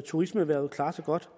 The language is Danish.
turismeerhvervet klarer sig godt